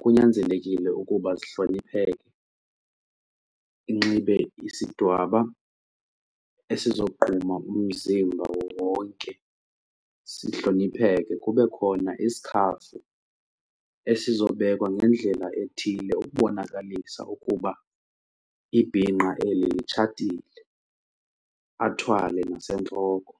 kunyanzelekile ukuba sihlonipheke, inxibe isidwaba esizogquma umzimba wonke, sihlonipheke. Kube khona isikhafu esizobekwa ngendlela ethile ukubonakalisa ukuba ibhinqa eli litshatile, athwale nasentloko.